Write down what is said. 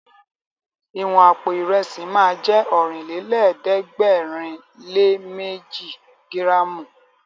Ìwọ̀n àpò Ìrẹ́sì ma jẹ́ Ọ̀rìnlélẹ̀ẹ́dẹ́gbèrinléméji gíràmù